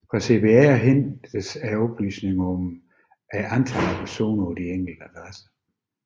Fra CPR hentes oplysninger om antallet af personer på de enkelte adresser